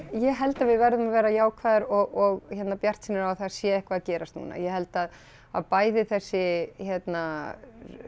ég held að við verðum að vera jákvæðar og hérna bjartsýnar á að það sé eitthvað að gerast núna ég held að að bæði þessi hérna